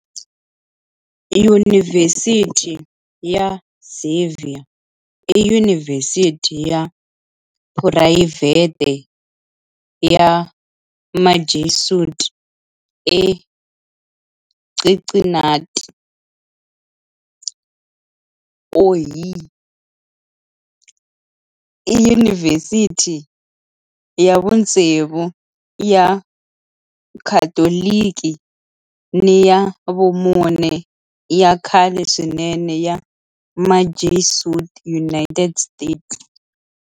Yunivhesiti ya Xavier i yunivhesiti ya phurayivhete ya Majesuit eCincinnati, Ohio. I yunivhesiti ya vutsevu ya Khatoliki ni ya vumune ya khale swinene ya Majesuit eUnited States.